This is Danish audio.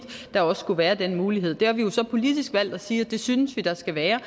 der også skulle være den mulighed der har vi jo så politisk valgt at sige at det synes vi der skal være